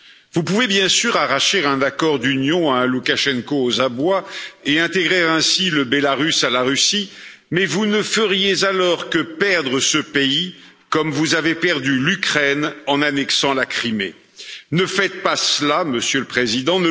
Vous pouvez bien sûr arracher un accord d'union à un Loukachenko aux abois et intégrer ainsi la Biélorussie à la Russie, mais vous ne feriez alors que perdre ce pays comme vous avez perdu l'Ukraine en annexant la Crimée. Ne faites pas cela, Monsieur le président.